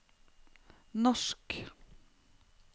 norsk